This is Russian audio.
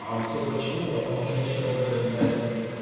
а все почему потому что некоторые блять